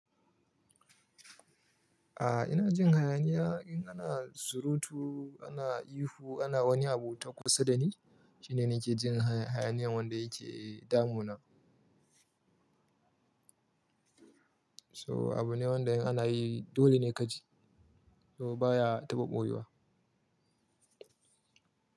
A'a ina jin hayaniya in ana surutu, ana ihu, ana wani abu ta kusa dani shine nike jin hayaniyan wanda yake damuna. To abu ne wanda in ana yi dole ne kaji, to baya taɓa ɓoyuwa.